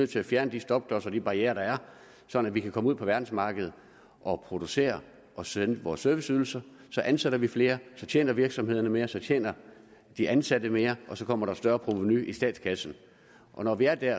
til at fjerne de stopklodser de barrierer der er sådan at vi kan komme ud på verdensmarkedet og producere og sælge vores serviceydelser så ansætter vi flere så tjener virksomhederne mere så tjener de ansatte mere og så kommer der et større provenu i statskassen og når vi er der